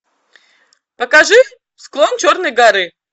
покажи склон черной горы